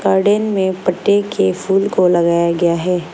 Garden में बड़े के फूल को लगाया गया है।